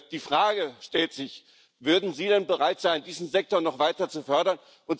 Die Frage stellt sich Würden Sie denn bereit sein, diesen Sektor noch weiter zu fördern?